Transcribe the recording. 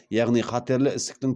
яғни қатерлі ісіктің